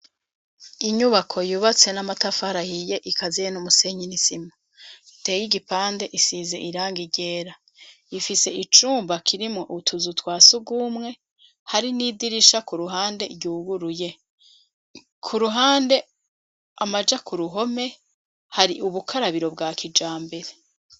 Inyubako yubatse n'amatafarahiye ikaziye n'umusenyinisimu teye igipande isize iranga rera ifise icumba kirimo utuzu twa si gumwe hari n'idirisha ku ruhande ryuguruye ku ruhande amaja ku ruhome hari ubukarabiro bwa kijambere.